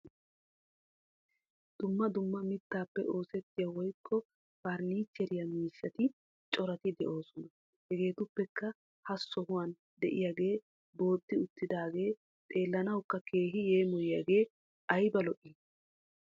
Dumma dumma mittaappe oosettiya woyikko perniicheriya miishshati corati de"oosona. Hegeetuppekka ha sohuwan diyagee booxxi uttidaagee xeellanawukka keehi yeemoyiyage ayiba lo'i!